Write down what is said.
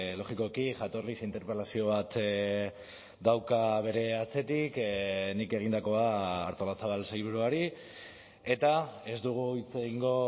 logikoki jatorriz interpelazio bat dauka bere atzetik nik egindakoa artolazabal sailburuari eta ez dugu hitz egingo